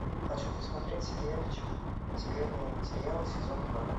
хочу посмотреть сериальчик секретные материалы сезон два